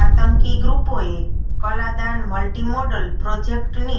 આતંકી ગ્રૂપોએ Kaladan multi modal પ્રોજેક્ટની